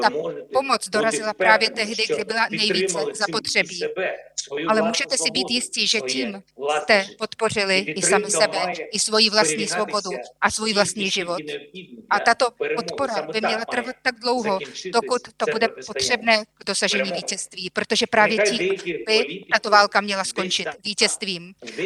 Ta pomoc dorazila právě tehdy, kdy byla nejvíce zapotřebí, ale můžete si být jisti, že tím jste podpořili i sami sebe, i svoji vlastní svobodu a svůj vlastní život, a tato podpora by měla trvat tak dlouho, dokud to bude potřebné k dosažení vítězství, protože právě tím by tato válka měla skončit: vítězstvím.